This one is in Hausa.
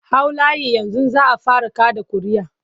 Hau layi yanzu za a fara kaɗa ƙuria'a!